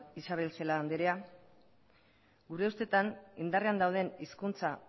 isabel celaá andrea gure ustetan indarrean dauden hizkuntza